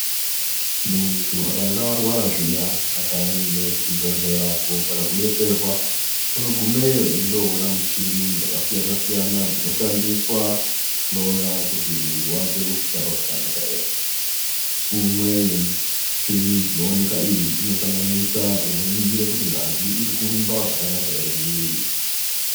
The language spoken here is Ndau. Muntu akange arwara zviya akaenda kuchibhehlera kotsvaka kudetserwa, unogumeyo eindoona michini dzakasiyana siyana dzinoshandiswa kuhloya kuti mwiri wake uri kuzwa zvakanaka ere. Umwe wemichini dzinowanika umu panosanganisa unoningira kuti ngazi irikurumba zvakanak ere mumwiri.